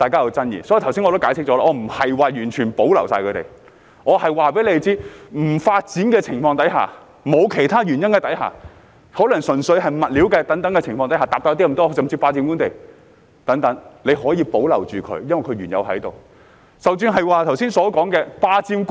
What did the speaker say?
故此，我剛才已解釋，我不是說要一概保留，而是告訴大家，在不發展的情況下，或沒有其他原因，可能純粹是物料改變、面積大了一點，甚至是霸佔官地等情況下，當局可以保留它們，因為它們原本已在該處。